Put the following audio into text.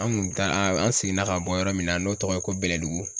An kun taa an an seginna ka bɔ yɔrɔ min na n'o tɔgɔ ye ko Bɛlɛdugu